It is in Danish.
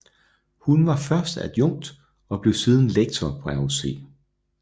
Hun var først adjunkt og blev siden lektor på RUC